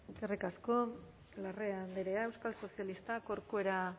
eskerrik asko larrea andrea euskal sozialistak corcuera